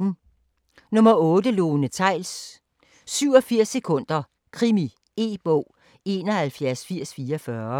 8. Theils, Lone: 87 sekunder: krimi E-bog 718044